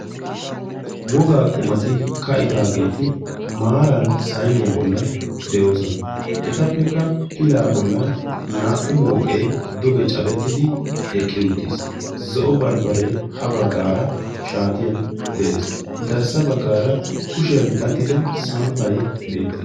Wogaa qumati ka'idaageeti maaran sainiyaa bollan de'oosona. etappekka pilaa bollan naa"u mooqee duge cadettidi eqqi uttiis zo'o baribaree ha baggaara shaatiyan de'ees. garssa baggaara kushiyan daddido samppai beettes.